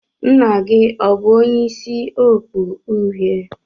Nna gi o bu onye isi okpu uhie?